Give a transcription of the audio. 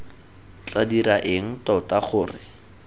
tla dira eng tota gore